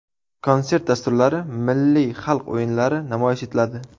Konsert dasturlari, milliy xalq o‘yinlari namoyish etiladi.